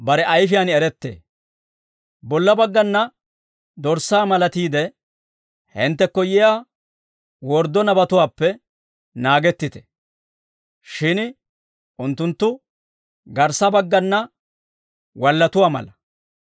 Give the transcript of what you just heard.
«Bolla baggana dorssaa malatiide, hinttekko yiyaa worddo nabatuwaappe naagettite; shin unttunttu garssa baggana wallatuwaa mala.